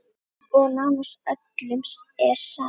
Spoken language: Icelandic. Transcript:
Og nánast öllum er sama.